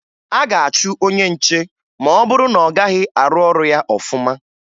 A ga-achụ onye nche ma ọ bụrụ na ọ gaghị arụ ọrụ ya ọfụma